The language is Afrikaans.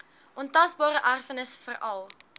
ontasbare erfenis veral